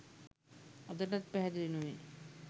අදටත් පැහැදිලි නොවේ